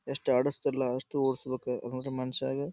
ಎಷ್ಟ ಆಡಸ್ತಲ ಅಷ್ಟ ಓಡ್ಸಬೇಕು ಅಸ್ಟ ಮನಶ್ಶಗ --